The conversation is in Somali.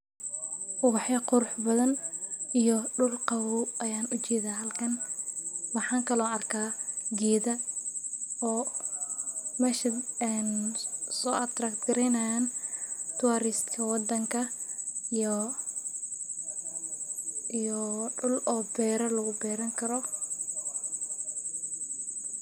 Ubax ya qurux badan iyo dhul qowow ayaan u jiida halkan maxaan kaloo arkay geeda oo meshad aan soo atrakti karaynaan tourist waddanka iyo, iyo dhul oo beera lagu beeran karo.